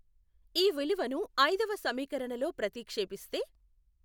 ఈ విలువను ఐదవ సమీకరణలో ప్రతిక్షేపిస్తే